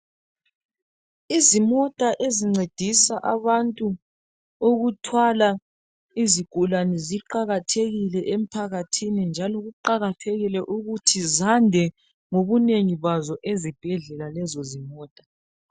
Izimota ezincedisa abantu ukuthwala izigulane ziqakathekile emphakathini njalo kuqakathekile ukuthi zande ngobunengi bazo ezibhedlela lezo zimota.